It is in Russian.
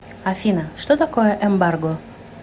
афина что такое эмбарго